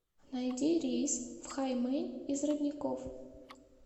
найди рейс в хаймэнь из родников